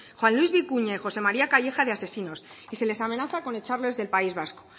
juan luis bikuña y josé maría calleja de asesinos y se les amenaza con echarles del país vasco